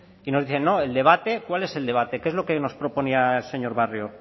y nos dicen no el debate cuál es el debate qué es lo que nos proponía el señor barrio